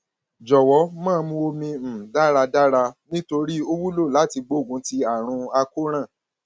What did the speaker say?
jọwọ máa mu omi um dáradára nítorí ó wúlò láti gbógun ti àrùn àkóràn